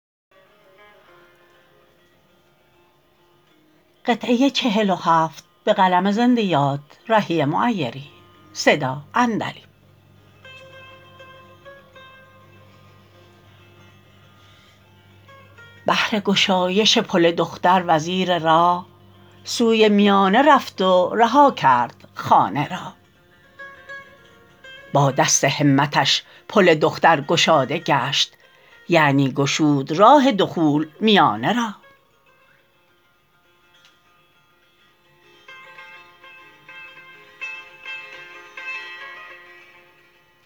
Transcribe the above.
بهر گشایش پل دختر وزیر راه سوی میانه رفت و رها کرد خانه را با دست همتش پل دختر گشاده گشت یعنی گشود راه دخول میانه را